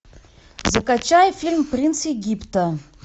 закачай фильм принц египта